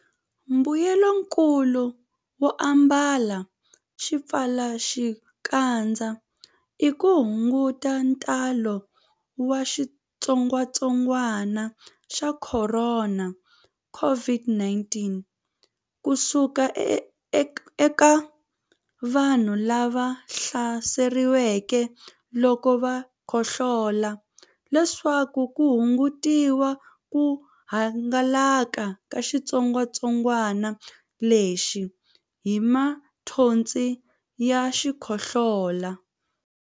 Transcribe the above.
Mbuyelonkulu wo ambala swipfalaxikandza i ku hunguta ntalo wa xitsongwantsongwana xa Khorona, COVID-19, ku suka eka vanhu lava hlaseriweke loko va khohlola leswaku ku hungutiwa ku hangalaka ka xitsongwantsongwanalexi hi mathonsi ya xikhohlola.